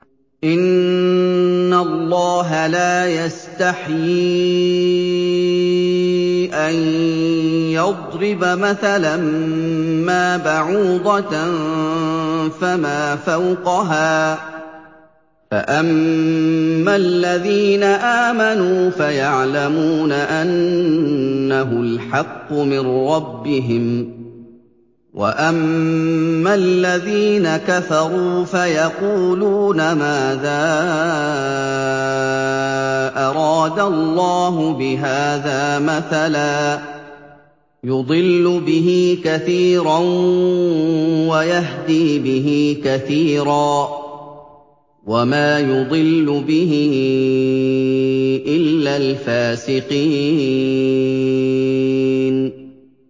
۞ إِنَّ اللَّهَ لَا يَسْتَحْيِي أَن يَضْرِبَ مَثَلًا مَّا بَعُوضَةً فَمَا فَوْقَهَا ۚ فَأَمَّا الَّذِينَ آمَنُوا فَيَعْلَمُونَ أَنَّهُ الْحَقُّ مِن رَّبِّهِمْ ۖ وَأَمَّا الَّذِينَ كَفَرُوا فَيَقُولُونَ مَاذَا أَرَادَ اللَّهُ بِهَٰذَا مَثَلًا ۘ يُضِلُّ بِهِ كَثِيرًا وَيَهْدِي بِهِ كَثِيرًا ۚ وَمَا يُضِلُّ بِهِ إِلَّا الْفَاسِقِينَ